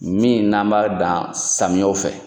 Min n'an b'a dan samiyɛw fɛ.